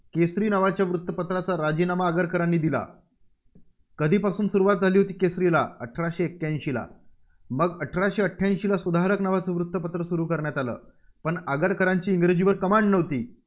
केसरी नावाचं वृत्तपत्राचा राजीनामा आगरकरांनी दिला. कधीपासून सुरुवात झाली होती केसरीला? अठराशे एक्याऐंशीला. मग अठराशे अठ्ठ्याऐंशीला सुधारक नावचं वृत्तपत्र सुरू करण्यात आलं. पण आगरकरांची इंग्रजीवर Command नव्हती.